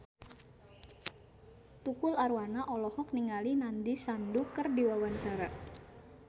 Tukul Arwana olohok ningali Nandish Sandhu keur diwawancara